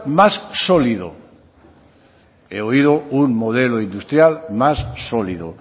más sólido he oído un modelo industrial más sólido